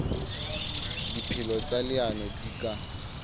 dipehelo tsa leano di ka